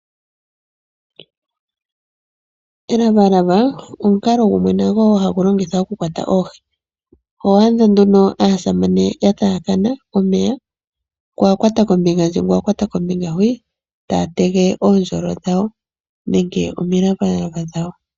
Elavalava omukalo gumwe hagu longithwa okukwata oohi. Oho adha nduno aasamane ya taakana omeya, ya ninga ngu a kwata kombinga huno ngu a kwata kombinga onkwawo taya tege uundjolo wawo nenge omilavalava dhawo.